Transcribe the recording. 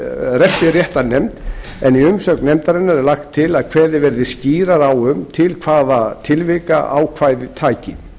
refsiréttarnefnd en í umsögn nefndarinnar er lagt til að kveðið verði skýrar á um til hvaða tilvika ákvæðið taki